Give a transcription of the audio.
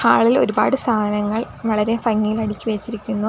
അളിൽ ഒരുപാട് സാധനങ്ങൾ വളരെ ഭംഗിയിൽ അടുക്കി വെച്ചിരിക്കുന്നു.